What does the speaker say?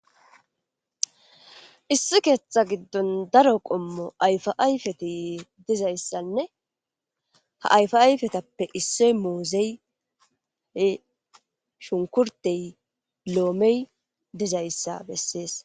issi keeththa giddon daro qommo ayfa ayfeti dizayssanne ha ayfa ayfetappe issoy muuzey shunkurtey loomey dizayssa bessees